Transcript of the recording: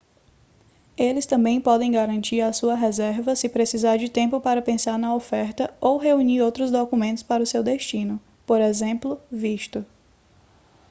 eles também podem garantir a sua reserva se precisar de tempo para pensar na oferta ou reunir outros documentos para o seu destino p. ex. visto